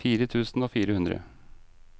fire tusen og fire hundre